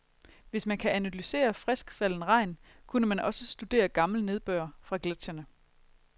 Hvis man kan analysere friskfalden regn, kunne man også studere gammel nedbør fra gletscherne.